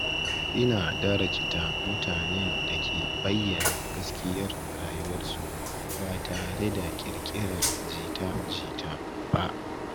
Ina darajta mutanen da ke bayyana gaskiyar rayuwarsu ba tare da ƙirƙirar jita-jita ba.